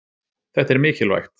Þetta er mikilvægt